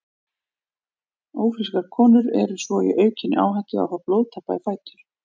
Ófrískar konur eru svo í aukinni áhættu á að fá blóðtappa í fætur.